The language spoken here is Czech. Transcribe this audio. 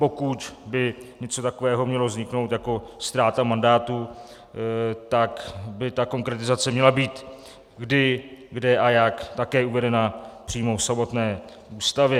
Pokud by něco takového mělo vzniknout jako ztráta mandátu, tak by ta konkretizace měla být kdy, kde a jak také uvedena přímo v samotné Ústavě.